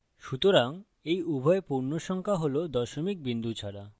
সুতরাং এই উভয় পূর্ণসংখ্যা হল দশমিক বিন্দু ছাড়া